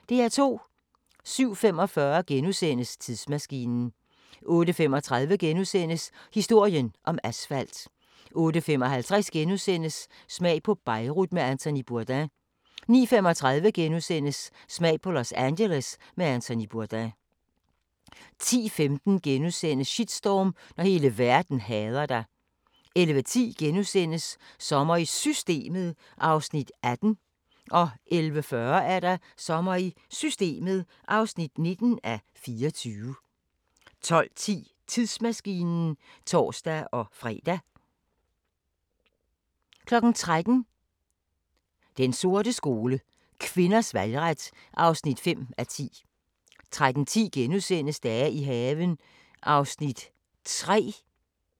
07:45: Tidsmaskinen * 08:35: Historien om asfalt * 08:55: Smag på Beirut med Anthony Bourdain * 09:35: Smag på Los Angeles med Anthony Bourdain * 10:15: Shitstorm – når hele verden hader dig * 11:10: Sommer i Systemet (18:24)* 11:40: Sommer i Systemet (19:24) 12:10: Tidsmaskinen (tor-fre) 13:00: Den sorte skole: Kvinders valgret (5:10) 13:10: Dage i haven (3:21)*